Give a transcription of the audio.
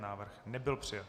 Návrh nebyl přijat.